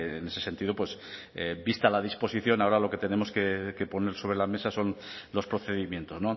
en ese sentido pues vista la disposición ahora lo que tenemos que poner sobre la mesa son los procedimientos